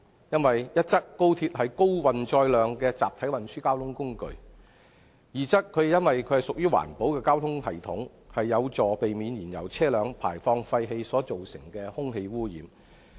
因為一則，高速鐵路是高運載量的集體運輸交通工具；二則，它屬於環保交通系統，不是燃油車輛，有助避免排放廢氣所造成的空氣污染。